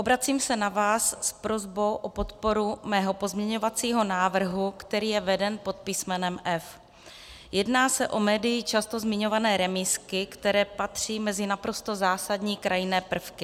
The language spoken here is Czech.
Obracím se na vás s prosbou o podporu mého pozměňovacího návrhu, který je veden pod písmenem F. Jedná se o médii často zmiňované remízky, které patří mezi naprosto zásadní krajinné prvky.